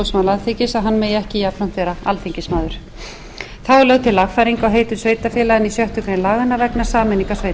alþingis að hann megi ekki jafnframt vera alþingismaður þá er lögð til lagfæring á heitum sveitarfélaga í sjöttu grein laganna vegna sameiningar sveitarfélaga í þriðju greinar